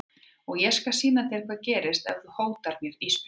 Og ég skal sýna þér hvað gerist ef þú hótar mér Ísbjörg.